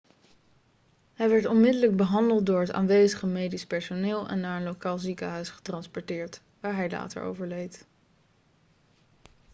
hij werd onmiddellijk behandeld door het aanwezige medisch personeel en naar een lokaal ziekenhuis getransporteerd waar hij later overleed